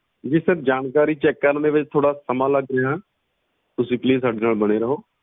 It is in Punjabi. ਜੀ sir ਜਾਣਕਾਰੀ ਕਰਨ ਦੇ ਵਿਚ ਥੋੜਾ ਸਮਾਂ ਲੱਗ ਰਿਹਾ sir